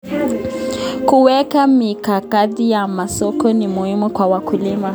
Kuweka mikakati ya masoko ni muhimu kwa wakulima.